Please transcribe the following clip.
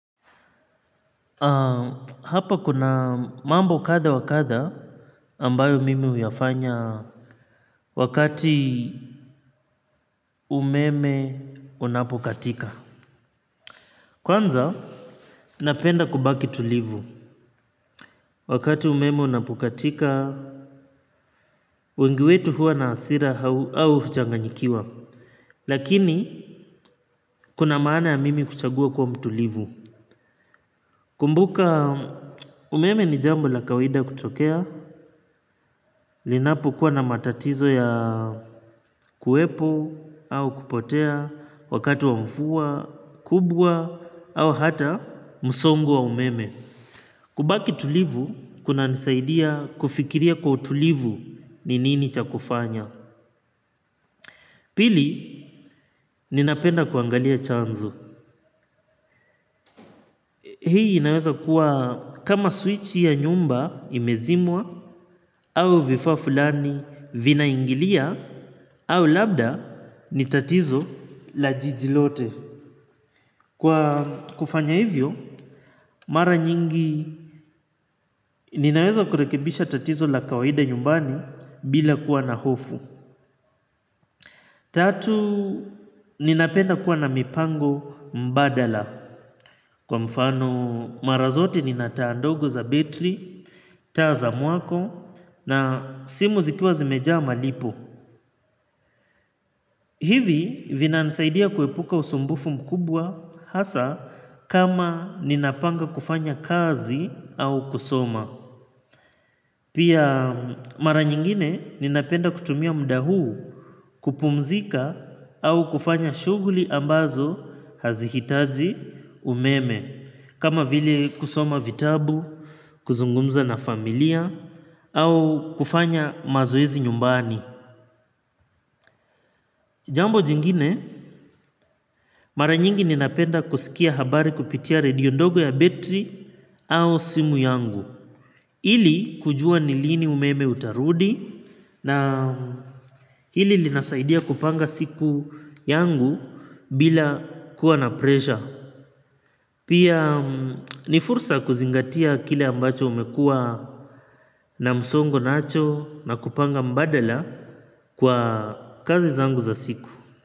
Hapa kuna mambo kadha wa kadha ambayo mimi huyafanya wakati umeme unapokatika. Kwanza napenda kubaki tulivu wakati umeme unapokatika wengi wetu huwa na hasira au kuchanganyikiwa. Lakini kuna maana ya mimi kuchagua kuwa mtulivu. Kumbuka umeme ni jambo la kawaida kutokea, linapokuwa na matatizo ya kuwepo au kupotea, wakati wa mvua, kubwa, au hata msongo wa umeme. Kubaki tulivu, kunanisaidia kufikiria kwa utulivu ni nini cha kufanya. Pili, ninapenda kuangalia chanzo. Hii inaweza kuwa kama swichi ya nyumba imezimwa au vifaa fulani vinaingilia au labda ni tatizo la jiji lote. Kwa kufanya hivyo mara nyingi inaweza kurekebisha tatizo la kawaida nyumbani bila kuwa na hofu. Tatu ninapenda kuwa na mipango mbadala. Kwa mfano mara zote nina taa ndogo za betri, taa za mwako na simu zikiwa zimejaa malipo. Hivi vinanisaidia kuepuka usumbufu mkubwa hasa kama ninapanga kufanya kazi au kusoma. Pia mara nyingine ninapenda kutumia muda huu kupumzika au kufanya shughuli ambazo hazihitaji umeme. Kama vile kusoma vitabu, kuzungumza na familia au kufanya mazoezi nyumbani. Jambo jingine, mara nyingi ninapenda kusikia habari kupitia redio ndogo ya betri au simu yangu ili kujua ni lini umeme utarudi na hili linasaidia kupanga siku yangu bila kuwa na presha. Pia ni fursa kuzingatia kile ambacho umekuwa na msongo nacho na kupanga mbadala kwa kazi zangu za siku.